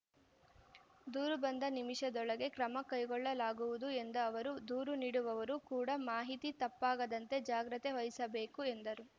ದೂರು ಬಂದ ನಿಮಿಷದೊಳಗೆ ಕ್ರಮ ಕೈಗೊಳ್ಳಲಾಗುವುದು ಎಂದ ಅವರು ದೂರು ನೀಡುವವರು ಕೂಡಾ ಮಾಹಿತಿ ತಪ್ಪಾಗದಂತೆ ಜಾಗ್ರತೆ ವಹಿಸಬೇಕು ಎಂದರು